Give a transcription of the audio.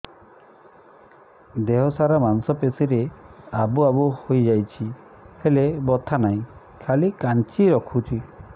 ଦେହ ସାରା ମାଂସ ପେଷି ରେ ଆବୁ ଆବୁ ହୋଇଯାଇଛି ହେଲେ ବଥା ନାହିଁ ଖାଲି କାଞ୍ଚି ରଖୁଛି